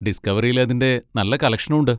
ഡിസ്ക്കവറിയിൽ അതിൻ്റെ നല്ല കളക്ഷനും ഉണ്ട്.